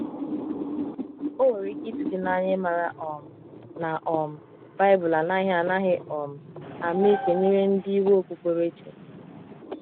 o nwere ike itu gi n'anya imara um na um bibulu anaghi anaghi um ama ikpe nyere ndi iwe okpukpere chi